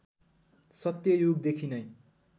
सत्य युगदेखि नै